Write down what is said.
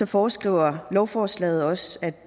foreskriver lovforslaget også at